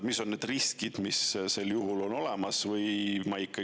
Mis on need riskid, mis on sel juhul olemas?